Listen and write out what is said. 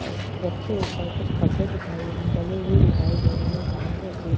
अ सबसे ऊपर कुछ कपड़े दिखाई डले हुए दिखाई दे रहे है। सामने एक --